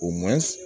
O man